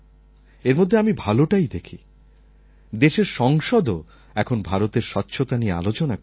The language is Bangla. এর মধ্যে আমি ভালোটাই দেখি দেশের সংসদও এখন ভারতের স্বচ্ছতা নিয়ে আলোচনা করছে